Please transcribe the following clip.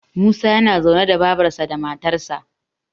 Musa yana zaune da babarsa da matarsa